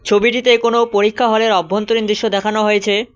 ছবিটিতে কোনো পরীক্ষা হল -এর অভ্যন্তরীণ দৃশ্য দেখানো হয়েছে।